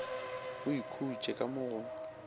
o ikhutše ka mo go